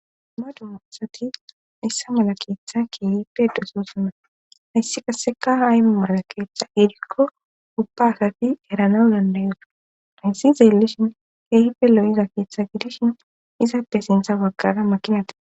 madu moosati hayssa mala keeththa kiiyippe dososuna hayssi kaseka ha ayu mara keeththa gedikko ubba asafi eranau dandayo rhayssizeellishin heehipe lo7iza keeththa gidishin izaappe sintha waggara makinati